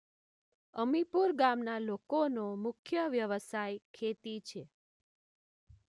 અમીપુર ગામના લોકોનો મુખ્ય વ્યવસાય ખેતી